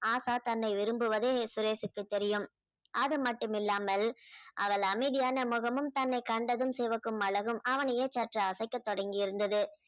ஆஷா தன்னை விரும்புவதே சுரேஷுக்கு தெரியும் அதுமட்டுமில்லாமல் அவள் அமைதியான முகமும் தன்னை கண்டதும் சிவக்கும் அழகும் அவனையே சற்று அசைக்க தொடங்கியிருந்தது